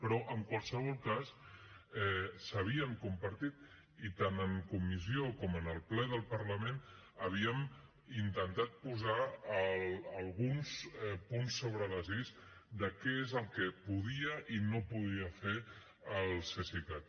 però en qualsevol cas s’havien compartit i tant en comissió com en el ple del parlament havíem intentat posar alguns punts sobre les is de què és el que podia i no podia fer el cesicat